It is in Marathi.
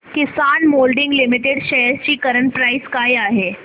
किसान मोल्डिंग लिमिटेड शेअर्स ची करंट प्राइस काय आहे